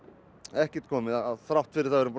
ekkert komið þrátt fyrir